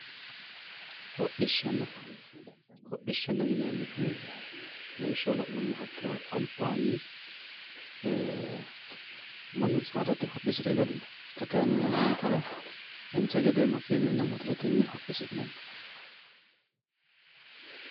Hodhishana hodhishana yineemohu laawishaho laanumoha ikiro alibanni ee mannu saadatenni hodhisire galino xaa kayyinni yaanankera daancha geede maakenuyinna mootoretenni hodhisinanni